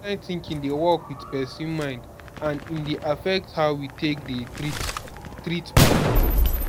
this kind thinking dey work with person mind and e dey affect how we take dey treat treat pipo